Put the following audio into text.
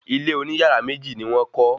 Ilé oní yàrá méjì ni wọ́n kọ́